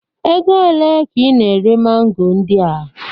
Ego ole ka ị na-ere mango ndị a?